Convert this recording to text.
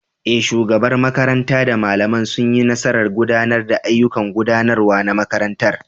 Eh, shugabar makaranta da malamai sun yi nasarar gudanar da ayyukan gudanarwa na makarantar.